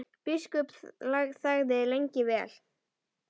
Biskup þagði lengi vel.